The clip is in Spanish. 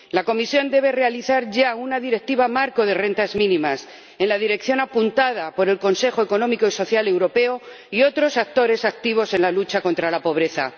La Comisión debe elaborar ya una directiva marco de rentas mínimas en la dirección apuntada por el Comité Económico y Social Europeo y otros actores activos en la lucha contra la pobreza.